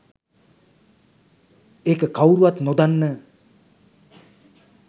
ඒක කවුරුවත් නොදන්න